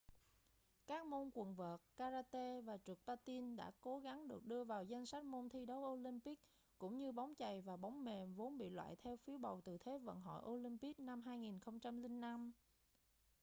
các môn quần vợt karate và trượt patin đã cố gắng được đưa vào danh sách môn thi đấu olympic cũng như bóng chày và bóng mềm vốn bị loại theo phiếu bầu từ thế vận hội olympic năm 2005